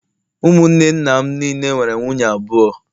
Ụmụnne nna m niile nwere nwunye abụọ